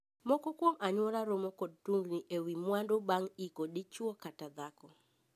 Moko kuom anyuola romo kod tungni e wii mwandu bang' iko dichwo kata dhako.